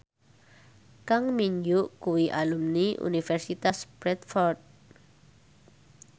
Kang Min Hyuk kuwi alumni Universitas Bradford